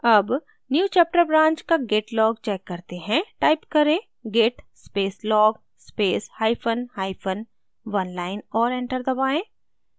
अब newchapter branch का git log check करते हैं टाइप करें git space log space hyphen hyphen oneline और enter दबाएँ